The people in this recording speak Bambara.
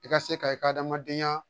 I ka se ka i ka adamadenya